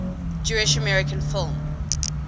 jewish american film